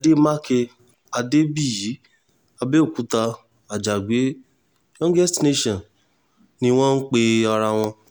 àdèmàkè adébíyì àbẹ̀òkúta àjàgbé youngest nation ni wọ́n ń pe ara wọn